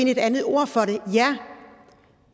et andet ord for